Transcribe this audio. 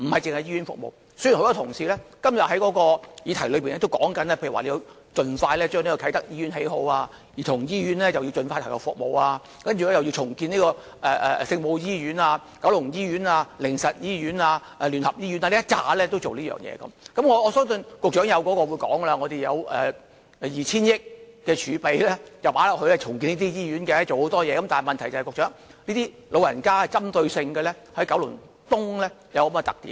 雖然多位同事今天提出，要盡快興建啟德醫院、香港兒童醫院要盡快投入服務，又要重建聖母醫院、九龍醫院、靈實醫院、基督教聯合醫院等，而我相信局長會表示當局已預留了 2,000 億元儲備作醫院重建工程，但當局須針對九龍東長者人口多的特點處理。